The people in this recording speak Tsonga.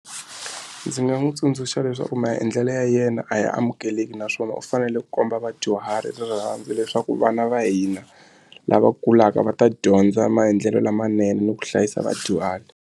Ndzi nga n'wi tsundzuxa leswaku maendlelo ya yena a ya amukeleki naswona u fanele ku komba vadyuhari rirhandzu leswaku vana va hina lava kulaka va ta dyondza maendlelo lamanene ni ku hlayisa vadyuhari.